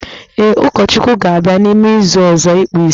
Ee, Ụkọchukwu ga-abịa n'ime izu ọzọ ịkpụ isi